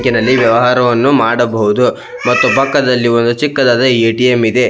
ಬ್ಯಾಂಕಿನಲ್ಲಿ ವ್ಯವಹಾರವನ್ನು ಮಾಡಬಹುದು ಮತ್ತು ಪಕ್ಕದಲ್ಲಿ ಒಂದು ಚಿಕ್ಕದಾದ ಎ.ಟಿ.ಎಮ್ ಇದೆ.